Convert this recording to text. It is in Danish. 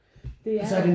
Det er det